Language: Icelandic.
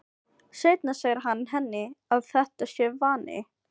Seinna segir hann henni að þetta sé vani.